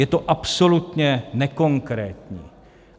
Je to absolutně nekonkrétní.